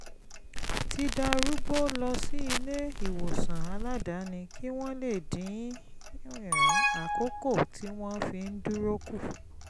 ti darúgbó lọ sí ilé-ìwòsàn aládàáni kí wọ́n lè dín àkókò tí wọ́n fi ń dúró kù